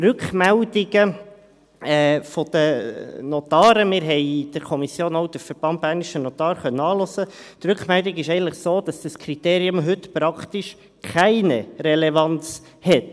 Rückmeldungen der Notare – wir konnten in der Kommission auch den Verband bernischer Notare (VbN) anhören –, die Rückmeldung ist eigentlich so, dass dieses Kriterium heute praktisch keine Relevanz hat.